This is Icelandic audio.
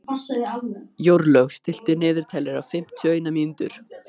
Jórlaug, stilltu niðurteljara á fimmtíu og eina mínútur.